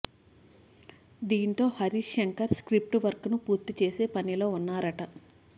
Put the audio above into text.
దీంతో హరీశ్ శంకర్ స్ర్కిప్ట్ వర్క్ను పూర్తి చేసే పనిలో ఉన్నారట